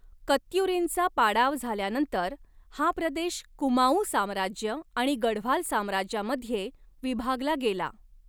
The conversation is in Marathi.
कत्युरींचा पाडाव झाल्यानंतर, हा प्रदेश कुमांऊ साम्राज्य आणि गढवाल साम्राज्यामध्ये विभागला गेला.